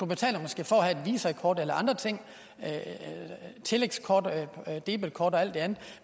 betaler måske for at have visakort eller andre ting tillægskort debetkort og alt det andet